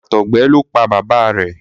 àtọgbẹ ló pá bàbá rẹ.